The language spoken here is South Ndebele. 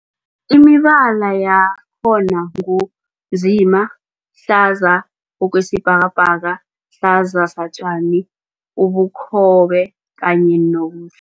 Imibala yakhona ngu nzima, hlaza okwesibhakabhaka, hlaza satjani, ubukhobe kanye nomhl